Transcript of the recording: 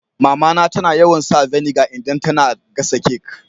Mama na tana yawan sa vinegar idan tana gasa kek.